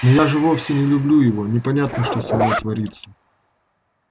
но я же вовсе не люблю его непонятно что со мной творится